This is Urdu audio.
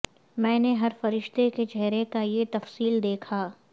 میں نے ہر فرشتہ کے چہرے کا یہ تفصیل دیکھا